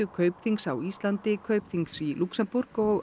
Kaupþings á Íslandi Kaupþings í Lúxemborg og